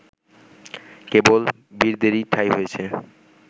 কেবল বীরদেরই ঠাঁই হয়েছে